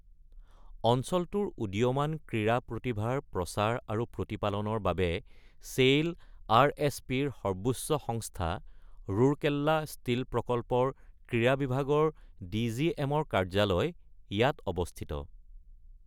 অঞ্চলটোৰ উদীয়মান ক্ৰীড়া প্ৰতিভাৰ প্ৰচাৰ আৰু প্ৰতিপালনৰ বাবে চেইল, আৰ.এছ.পি.ৰ সৰ্বোচ্চ সংস্থা ৰাউৰকেলা ষ্টীল প্ৰকল্পৰ ক্ৰীড়া বিভাগৰ ডি.জি.এম.ৰ কাৰ্যালয় ইয়াত অৱস্থিত।